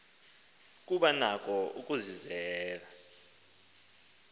kuba nako ukusizela